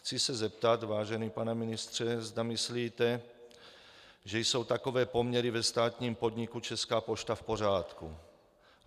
Chci se zeptat, vážený pane ministře, zda myslíte, že jsou takové poměry ve státním podniku Česká pošta v pořádku.